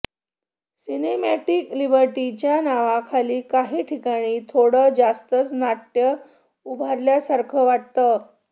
cinematic लिबर्टीच्या नावाखाली काही ठिकाणी थोडं जास्तच नाट्य उभारल्यासारखं वाटतं